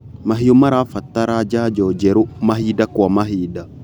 Mahiũ marabatara janjo njerũ mahinda kwa mahinda.